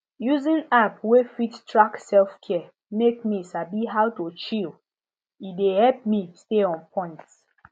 using app wey fit track selfcare make me sabi how to chill e dey help me stay on point